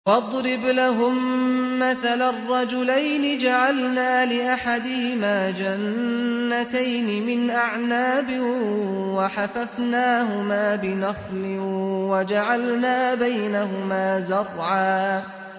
۞ وَاضْرِبْ لَهُم مَّثَلًا رَّجُلَيْنِ جَعَلْنَا لِأَحَدِهِمَا جَنَّتَيْنِ مِنْ أَعْنَابٍ وَحَفَفْنَاهُمَا بِنَخْلٍ وَجَعَلْنَا بَيْنَهُمَا زَرْعًا